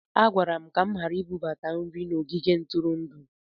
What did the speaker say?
A gwara m ka m ghara ibubata nri n'ogige ntụrụndụ